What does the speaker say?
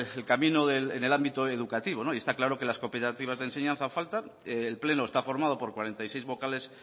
el camino en el ámbito educativo y está claro que las cooperativas de enseñanza faltan el pleno está formado por cuarenta y seis vocales